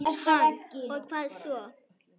Hann: Og hvað svo?